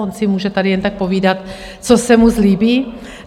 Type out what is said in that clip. On si může tady jen tak povídat, co se mu zlíbí?